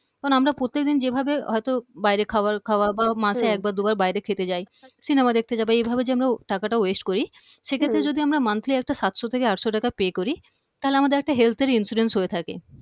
কারণ আমরা প্রত্যেক দিন যেভাবে হয়তো বাইরে খাবার খাওয়া বা মাসে হম একবার দুবার বাইরে খেতে যাই cinema দেখতে যাই বা এভাবে যে আমরা টাকাটা waste করি হম সেক্ষেত্রে যদি আমরা monthly একটা সাতশ থেকে আটশ টাকা pay করি তাহলে আমাদের একটা health এর insurance হয়ে থাকে